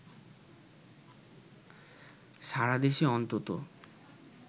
সারা দেশে অন্তত